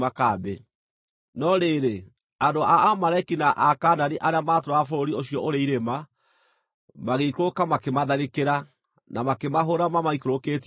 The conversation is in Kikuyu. No rĩrĩ, andũ a Amaleki na Akaanani arĩa maatũũraga bũrũri ũcio ũrĩ irĩma, magĩikũrũka, makĩmatharĩkĩra, na makĩmahũũra mamaikũrũkĩtie o nginya Horoma.